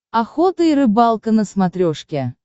охота и рыбалка на смотрешке